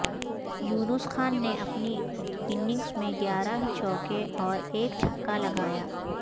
یونس خان نے اپنی اننگز میں گیارہ چوکے اور ایک چھکا لگایا